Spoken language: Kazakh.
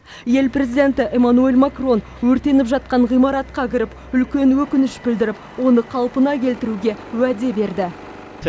ел президенті эмманюэль макрон өртеніп жатқан ғимаратқа кіріп үлкен өкініш білдіріп оны қалпына келтіруге уәде берді